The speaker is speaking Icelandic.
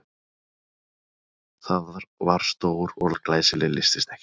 Það var stór og glæsileg lystisnekkja.